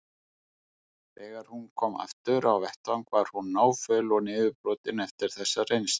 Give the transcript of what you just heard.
Þegar hún kom aftur á vettvang var hún náföl og niðurbrotin eftir þessa reynslu.